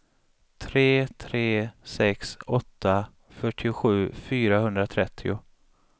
tre tre sex åtta fyrtiosju fyrahundratrettio